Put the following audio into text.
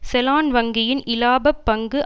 செலான் வங்கியின் இலாபப் பங்கு